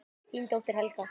Þín dóttir, Helga.